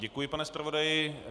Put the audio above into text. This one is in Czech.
Děkuji, pane zpravodaji.